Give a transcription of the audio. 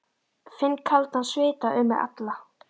Finn kaldan svita um mig alla.